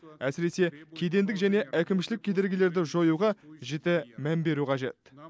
әсіресе кедендік және әкімшілік кедергілерді жоюға жіті мән беру қажет